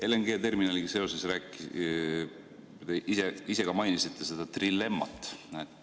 LNG-terminaliga seoses te ise ka mainisite seda trilemmat.